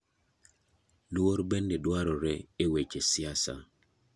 Luor bende dwarore e weche siasa.